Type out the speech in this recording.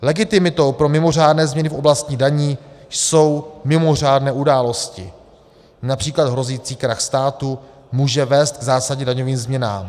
Legitimitou pro mimořádné změny v oblasti daní jsou mimořádné události, například hrozící krach státu může vést k zásadním daňovým změnám.